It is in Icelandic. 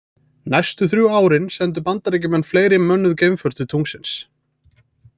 Næstu þrjú árin sendu bandaríkjamenn fleiri mönnuð geimför til tunglsins.